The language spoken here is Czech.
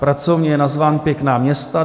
Pracovně je nazván Pěkná města.